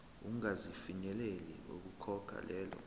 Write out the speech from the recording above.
ungasafinyeleli ukukhokha lelo